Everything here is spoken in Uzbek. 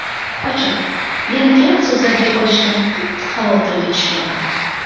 Ochig‘i, yana gap-so‘zlarga qolishdan qattiq xavotirga tushgandim.